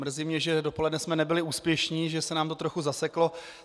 Mrzí mě, že dopoledne jsme nebyli úspěšní, že se nám to trochu zaseklo.